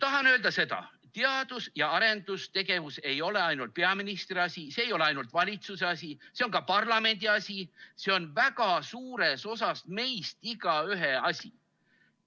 Tahan öelda seda: teadus‑ ja arendustegevus ei ole ainult peaministri asi, see ei ole ainult valitsuse asi, see on ka parlamendi asi, see on väga suures osas meist igaühe asi.